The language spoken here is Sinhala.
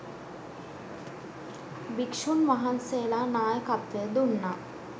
භික්ෂූන් වහන්සේලා නායකත්වය දුන්නා.